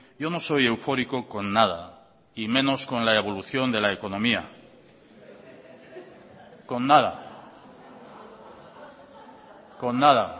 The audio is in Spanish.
yo no soy eufórico con nada y menos con la evolución de la economía con nada con nada